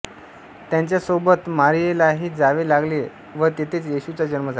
त्याच्या सोबत मारीयेलाही जावे लागले व तेथेच येशूचा जन्म झाला